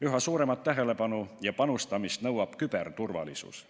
Üha suuremat tähelepanu ja panustamist nõuab küberturvalisus.